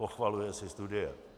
Pochvaluje si studie.